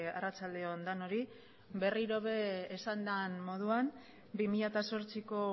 arratsalde on denoi berriro ere esan den moduan bi mila zortziko